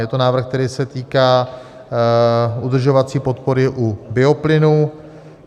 Je to návrh, který se týká udržovací podpory u bioplynu.